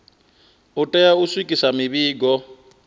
u tea u swikisa mivhigo